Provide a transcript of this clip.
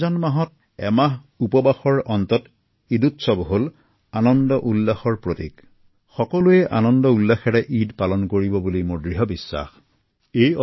ৰমজানৰ সম্পূৰ্ণ এটা মাহ উপবাসে থকাৰ পাছত ঈদে সকলোৰে মনলৈ আনন্দউল্লাহ কঢ়িয়াই আনে